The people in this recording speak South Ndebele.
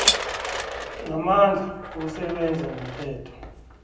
namandla wokusebenza ngomthetho